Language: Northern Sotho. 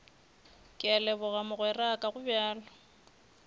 ke a leboga mogweraka gobjalo